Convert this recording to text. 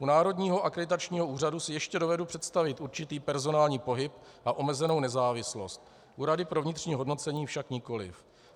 U Národního akreditačního úřadu si ještě dovedu představit určitý personální pohyb a omezenou nezávislost, u rady pro vnitřní hodnocení však nikoliv.